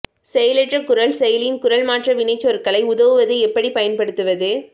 செயலற்ற குரல் செயலில் குரல் மாற்ற வினைச்சொற்களை உதவுவது எப்படி பயன்படுத்துவது